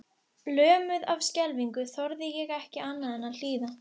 Lömuð af skelfingu þorði ég ekki annað en að hlýða.